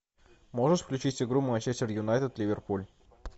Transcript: можешь включить игру манчестер юнайтед ливерпуль